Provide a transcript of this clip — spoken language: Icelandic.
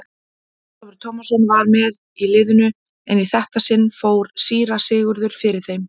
Ólafur Tómasson var með í liðinu en í þetta sinn fór síra Sigurður fyrir þeim.